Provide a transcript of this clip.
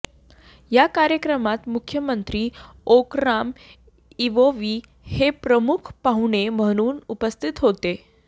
या कार्यक्रमात मुख्यमंत्री ओकराम इवोवी हे प्रमुख पाहुणे म्हणून उपस्थित होते